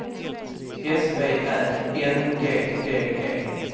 S V Ä N G D E